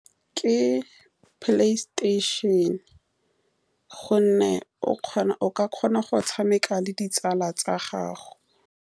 Ke Playstation-e ka gonne o kgona, o ka kgona go tshameka le ditsala tsa gago.